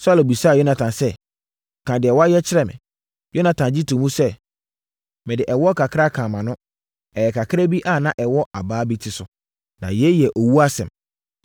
Saulo bisaa Yonatan sɛ, “Ka deɛ woayɛ kyerɛ me.” Yonatan gye too mu sɛ, “Mede ɛwoɔ kakra kaa mʼano. Ɛyɛ kakra bi a na ɛwɔ abaa bi ti so. Na yei yɛ owuo asɛm?”